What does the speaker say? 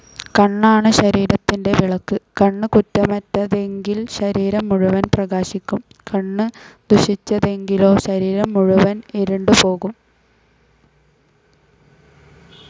കണ്ണാണു ശരീരത്തിന്റെ വിളക്ക്. കണ്ണു കുറ്റമറ്റതെങ്കിൽ ശരീരം മുഴുവൻ പ്രകാശിക്കും. കണ്ണു ദുഷിച്ചതെങ്കിലോ ശരീരം മുഴുവൻ ഇരുണ്ടുപോകും.